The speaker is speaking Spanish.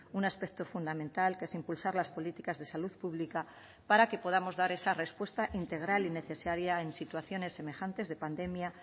un aspecto fundamental que es impulsar las políticas de salud pública para que podamos dar esa respuesta integral y necesaria en situaciones semejantes de pandemia